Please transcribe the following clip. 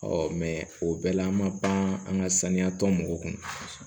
mɛ o bɛɛ la an ma pan an ka saniya tɔn mɔgɔw kun